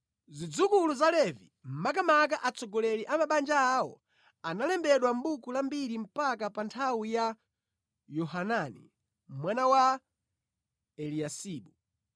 Zidzukulu za Levi, makamaka atsogoleri a mabanja awo analembedwa mʼbuku la mbiri mpaka pa nthawi ya Yohanani mwana wa Eliyasibu.